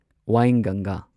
ꯎꯗꯌꯕꯔꯥ